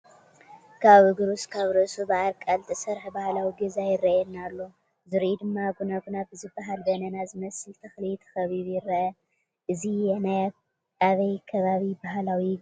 ካብ እግሩ እስካብ ርእሱ ብኣርቃል ይተሰርሐ ባህላዊ ገዛ ይርአየና ኣሎ፡፡ ዙሪኡ ድማ ጉና ጉና ብዝበሃል በነና ዝመስል ተኽሊ ተኸቢቡ ይርአ፡፡ እዚ ናይ ኣበይ ከባቢ ባህላዊ ገዛ እዩ?